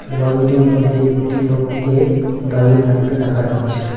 লরিটির মধ্যে একটি লোককে দাঁড়িয়ে থাকতে দেখা যাচ্ছে।